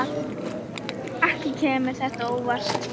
Ekki kemur þetta á óvart.